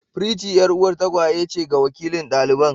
Pretty 'yar'uwar tagwaye ce ga wakilin daliban.